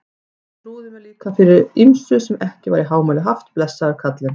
Hann trúði mér líka fyrir ýmsu sem ekki var í hámæli haft, blessaður kallinn.